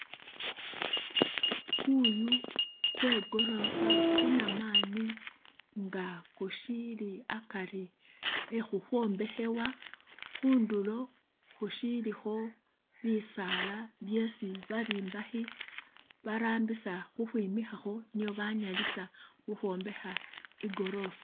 Kuyu kwe gorofa kunamani nga kushiili akari e khukhombekhewa khundulo khushilikho bisaala byesi ba bombakhi barambisa ukhwimikhakho niyo banyalisa ukhwombekha i gorofa.